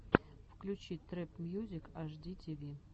включи трэп мьюзик аш ди ти ви